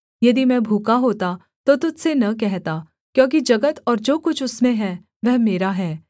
यदि मैं भूखा होता तो तुझ से न कहता क्योंकि जगत और जो कुछ उसमें है वह मेरा है